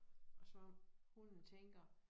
Og så hunden tænker